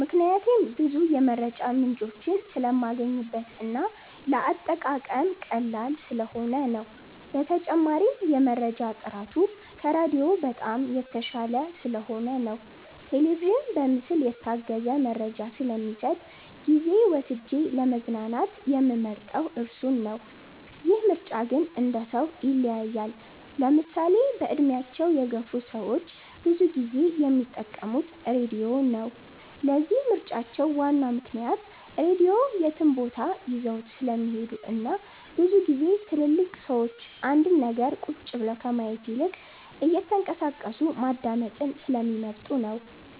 ምክንያቴም ብዙ የመረጃ ምንጮችን ስለማገኝበት እና ለአጠቃቀም ቀላል ስለሆነ ነው። በተጨማሪም የመረጃ ጥራቱ ከራዲዮ በጣም የተሻለ ስለሆነ ነው። ቴሌቪዥን በምስል የታገዘ መረጃ ስለሚሰጥ ጊዜ ወስጄ ለመዝናናት የምመርጠው እሱን ነው። ይህ ምርጫ ግን እንደሰው ይለያያል። ለምሳሌ በእድሜያቸው የገፍ ሰዎች ብዙ ጊዜ የሚጠቀሙት ራድዮ ነው። ለዚህም ምርጫቸው ዋናው ምክንያት ራድዮ የትም ቦታ ይዘውት ስለሚሄዱ እናም ብዙ ግዜ ትልልቅ ሰዎች አንድን ነገር ቁጭ ብለው ከማየት ይልቅ እየተንቀሳቀሱ ማዳመጥን ስለሚመርጡ ነው።